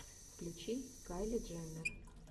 включи кайли дженнер